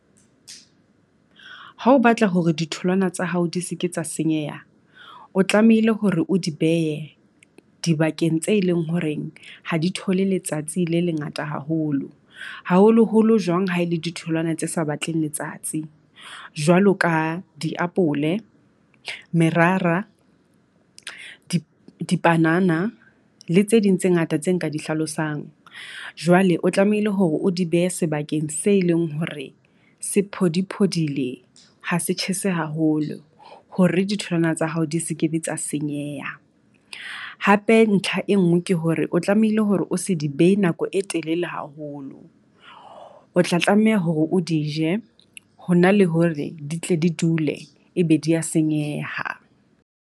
Ha o batla hore ditholwana tsa hao di se ke tsa senyeha, o tlamehile hore o di behe dibakeng tse leng horeng ha di thole letsatsi le lengata haholo. haholoholo jwang ha e le ditholwana tse sa batleng letsatsi jwalo ka diapole, merara, dibanana le tse ding tse ngata tse nka di hlalosang. Jwale o tlamehile hore o di behe sebakeng se e leng hore se phodi-phodile ha se tjhese haholo. Hore ditholwana tsa hao di se ke be tsa senyeha hape. Ntlha e nngwe ke hore o tlamehile hore o se di behe nako e telele haholo, o tla tlameha hore o di je ho na le hore di tle di dule e be di ya senyeha.